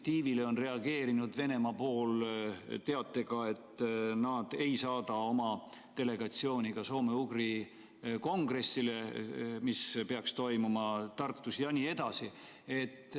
Teie initsiatiivile reageeris Venemaa teatega, et nad ei saada oma delegatsiooni ka soome-ugri kongressile, mis peaks toimuma Tartus.